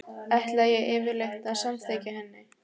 Ætlaði ég yfirleitt að samgleðjast henni?